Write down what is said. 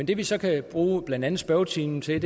det vi så kan bruge blandt andet spørgetimen til